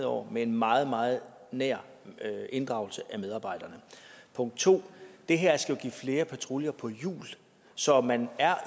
år med en meget meget nær inddragelse af medarbejderne punkt 2 det her skal jo give flere patruljer på hjul så man er